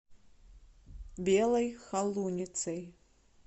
белой холуницей